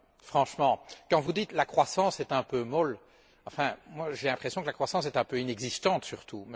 Franchement, quand vous dites que la croissance est un peu molle, moi, j'ai l'impression que la croissance est un peu inexistante, surtout.